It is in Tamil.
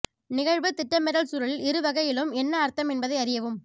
நிகழ்வு திட்டமிடல் சூழலில் இரு வகையிலும் என்ன அர்த்தம் என்பதை அறியவும்